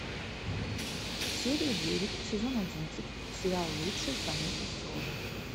серия девять сезон одиннадцать сериал лучше звоните солу